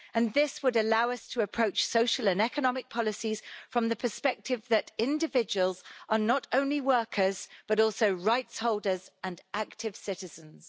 This would allow us to approach social and economic policies from the perspective that individuals are not only workers but also rights holders and active citizens.